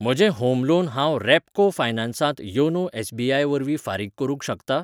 म्हजें home loan हांव Repco फायनान्सांत योनो एस.बी.आय वरवीं फारीक करूंक शकतां?